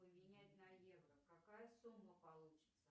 поменять на евро какая сумма получится